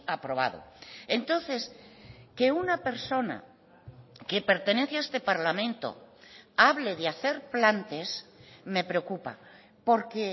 aprobado entonces que una persona que pertenece a este parlamento hable de hacer plantes me preocupa porque